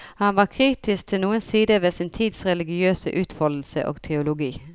Han var kritisk til noen sider ved sin tids religiøse utfoldelse og teologi.